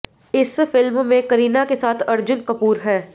इस फिल्म में करीना के साथ अर्जुन कपूर हैं